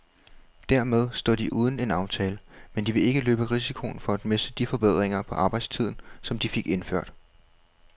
Dermed står de uden en aftale, men de vil ikke løbe risikoen for at miste de forbedringer på arbejdstiden, som de fik indført.